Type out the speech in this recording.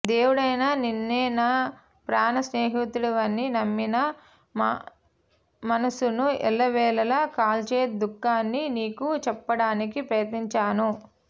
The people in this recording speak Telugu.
దేవుడైన నినే్న నా ప్రాణ స్నేహితుడివని నమ్మి నా మనస్సును ఎల్లవేళలా కాల్చే దుఃఖాన్ని నీకు చెప్పడానికి ప్రయత్నించాను